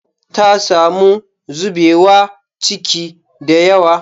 Ta samu zubewa ciki da yawa